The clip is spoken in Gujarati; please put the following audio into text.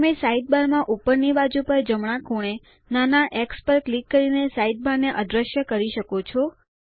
તમે સાઇડબારમાં ઉપરની બાજુ પર જમણા ખૂણે નાના એક્સ પર ક્લિક કરી સાઇડબાર ને અદ્રશ્ય કરી શકો છો